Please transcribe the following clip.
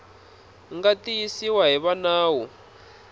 nga tiyisiwa hi va nawu